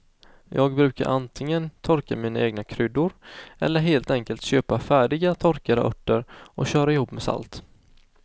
Jag brukar antingen torka mina egna kryddor eller helt enkelt köpa färdiga torkade örter och köra ihop med salt.